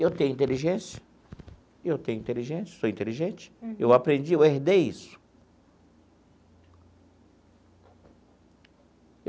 Eu tenho inteligência, eu tenho inteligência, sou inteligente, eu aprendi, eu herdei isso.